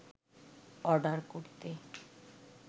order করতে